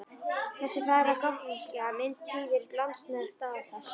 Þessi fagra gotneska mynd prýðir latneskt dagatal.